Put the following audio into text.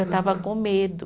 Eu estava com medo.